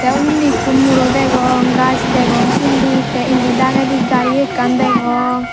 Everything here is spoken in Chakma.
undi ekko muro degong gaj degong sindi te indi dagedi gari ekkan degong.